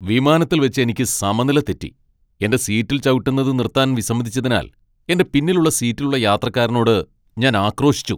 വിമാനത്തിൽവെച്ച് എനിക്ക് സമനില തെറ്റി , എന്റെ സീറ്റിൽ ചവിട്ടുന്നത് നിർത്താൻ വിസമ്മതിച്ചതിനാൽ എന്റെ പിന്നിലുള്ള സീറ്റിലുള്ള യാത്രക്കാരനോട് ഞാൻ ആക്രോശിച്ചു .